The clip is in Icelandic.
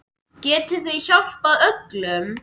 Getið þið hjálpað öllum?